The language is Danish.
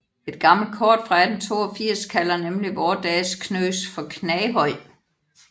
Et gammelt kort fra 1882 kalder nemlig vore dages Knøs for Knaghøj